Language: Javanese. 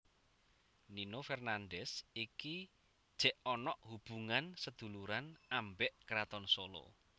Nino Fernandez iki jek onok hubungan seduluran ambek kraton Solo